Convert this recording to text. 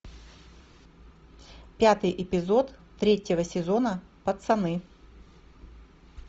пятый эпизод третьего сезона пацаны